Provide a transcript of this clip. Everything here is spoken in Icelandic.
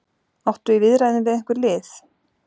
Áttu í viðræðum við einhver lið?